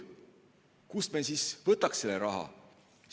Kust me siis võtaks selle raha?